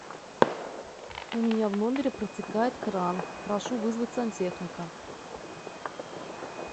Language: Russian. у меня в номере протекает кран прошу вызвать сантехника